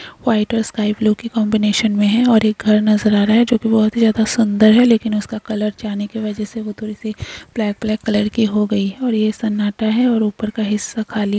white और एक sky blue की कंबिनेशन में है और एक घर नजर आ रहा है जो की बोहत ही ज्यादा सुंदर है लेकिन उसका कलर जाने की वजह से वो थोड़ी सी ब्लैक ब्लैक कलर के हो गई है और यह सान्नाट है और ऊपर का हिस्सा खाली --